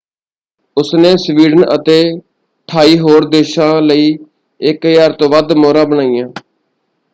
ਉਸਨੇ ਸਵੀਡਨ ਅਤੇ 28 ਹੋਰ ਦੇਸ਼ਾਂ ਲਈ 1,000 ਤੋਂ ਵੱਧ ਮੋਹਰਾਂ ਬਣਾਈਆਂ।